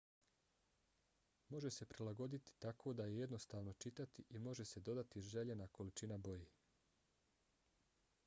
može se prilagoditi tako da je jednostavno čitati i može se dodati željena količina boje